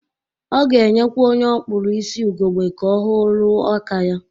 Ọ ga-enyekwa onye ọ kpụrọ isi ugegbe ka ọ hụ ọrụ aka ya